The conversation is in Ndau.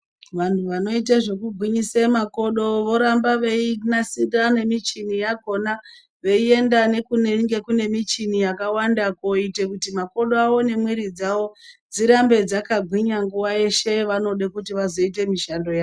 Vantu vanoite zvekugwinyisa makodo voramba veinasira michini yakona veienda kunenge kune michini yakawanda koite kuti makodo awo nemwiri dzavo dzirambe dzakagwina kuitira pavanode kuita mishando yavo.